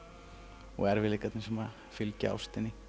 og erfiðleikarnir sem fylgja ástinni